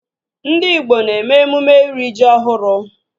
Ndị igbo na-eme emume iri ji ọhụrụ